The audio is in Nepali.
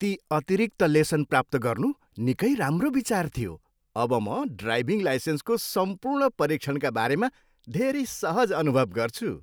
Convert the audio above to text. ती अतिरिक्त लेसन प्राप्त गर्नु निकै राम्रो विचार थियो! अब म ड्राइभिङ लाइसेन्सको सम्पूर्ण परीक्षणका बारेमा धेरै सहज अनुभव गर्छु।